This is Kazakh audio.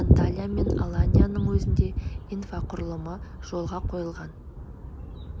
анталия мен аланияның өзінде инфрақұрылымы жолға қойылған